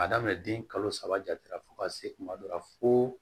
Ka daminɛ den kalo saba jate la fo ka se kuma dɔ la fo